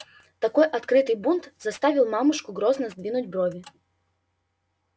такой открытый бунт заставил мамушку грозно сдвинуть брови